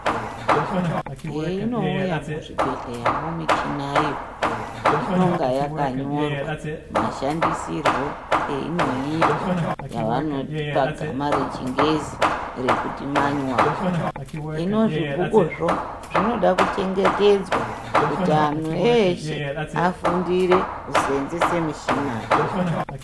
Heinouyazvo muzvibhedhlera, michiniyo, inonga yakanyorwa mashandisirwo ayo eyinoitwa, yavanoti pagama rechingezi rekuti manyuwari. Hino zvibhukuzvo zvinode kuchengetedzwa kuti antu eshe afundire kuseenzesa mishinayo.